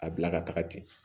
A bila ka taga ten